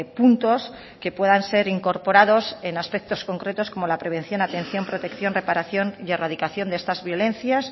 puntos que puedan ser incorporados en aspectos concretos como la prevención atención protección reparación y erradicación de estas violencias